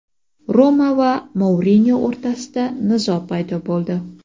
"Roma" va Mourino o‘rtasida nizo paydo bo‘ldi.